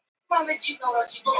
Ertu að geggjast?